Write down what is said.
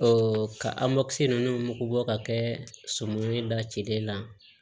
kamɔkisɛ ninnu mugu bɔ ka kɛ sɔmi da cile la